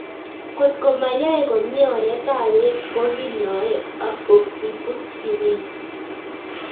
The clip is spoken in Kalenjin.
Kotko mayae komie oret ab peek ko kinyoe oxybutynin